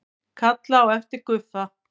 Kalla á eftir Guffa.